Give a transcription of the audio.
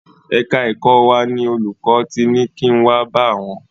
Ẹ̀ka ẹ̀kọ́ wa ni olùkọ́ ti ni kin wá bá àwọn.